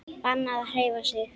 Bannað að hreyfa sig.